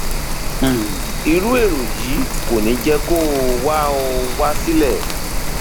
um irú èrò yìí kò ní jẹ kó o wá o wá sílẹ